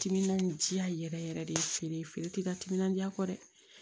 Timinan diya yɛrɛ yɛrɛ yɛrɛ de ye feere ye feere tɛ ka timinan diya kɔ dɛ